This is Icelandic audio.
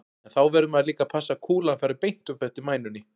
En þá verður maður líka að passa að kúlan fari beint upp eftir mænunni.